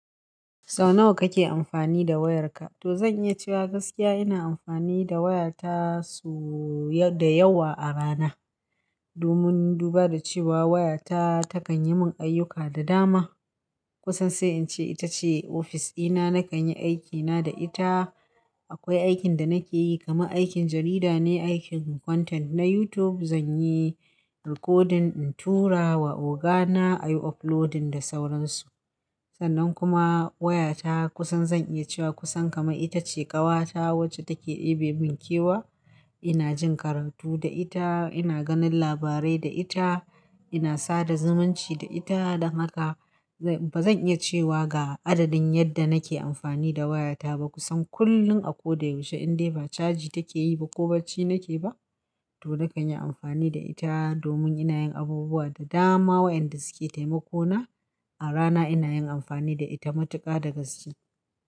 Sau nawa kake amfani da wayarka? To zan iya cewa gaskiya ina amfani da wayata so-- da yawa a rana. Domin duba da cewa wayata takan yi mun ayyuka da dama. Kusan sai in ce ita ce ofis ina, na kan yi aikina da ita. Akwai aikin da nake yi kamar aikin jarida ne, aikin content na YouTube. Zan yi recording in tura wa ogana ayi uploading da sauransu. Sannan kuma wayata kusan zan iya cewa kusan kamar ita ce ƙawata wacce take ɗebe min kewa. Ina jin karatu da ita, ina ganin labarai da ita, ina sada zumunci da ita, don haka. Ba zan iya cewa ga adadin yadda nake amfani da wayata ba. Kusan kullum a ko da yaushe indai ba caji take yi ba ko bacci nake ba to na kan yi amfani da ita domin ina yin abubuwa da dama waɗanda suke taimako na. A rana ina yin amfani da ita matuƙa da gaske.